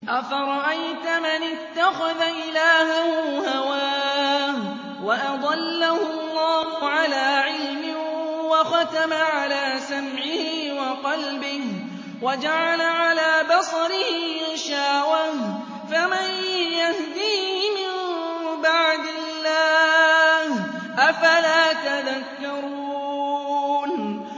أَفَرَأَيْتَ مَنِ اتَّخَذَ إِلَٰهَهُ هَوَاهُ وَأَضَلَّهُ اللَّهُ عَلَىٰ عِلْمٍ وَخَتَمَ عَلَىٰ سَمْعِهِ وَقَلْبِهِ وَجَعَلَ عَلَىٰ بَصَرِهِ غِشَاوَةً فَمَن يَهْدِيهِ مِن بَعْدِ اللَّهِ ۚ أَفَلَا تَذَكَّرُونَ